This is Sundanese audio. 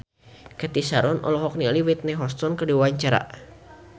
Cathy Sharon olohok ningali Whitney Houston keur diwawancara